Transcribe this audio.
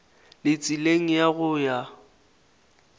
le tseleng ya go ya